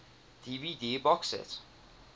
dvd box set